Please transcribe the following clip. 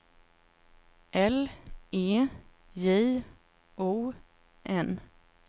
L E J O N